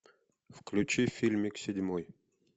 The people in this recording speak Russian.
включи фильмик седьмой